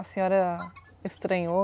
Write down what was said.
A senhora estranhou?